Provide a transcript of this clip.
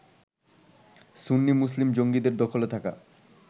সুন্নি Muslim জঙ্গিদের দখলে থাকা